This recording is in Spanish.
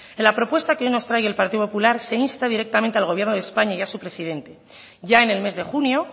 en la propuesta que hoy nos trae el partido popular se insta directamente al gobierno de españa y a su presidente ya en el mes de junio